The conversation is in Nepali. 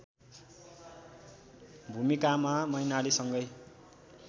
भूमिकामा मैनालीसँगै